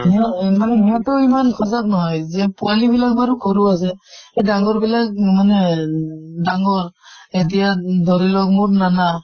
হিহঁত মানে সিহঁতৰ ইমান সজাগ নহয় যিয়ে পোৱালী বিলাক বাৰু সৰু আছে, এই ডাঙ্গৰ বিলাক মানে ডাঙ্গৰ এতিয়া ধৰি লওঁক মোৰ নানা